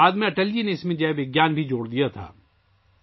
بعد میں اٹل جی نے اس میں جئے وگیان کو بھی شامل کیا تھا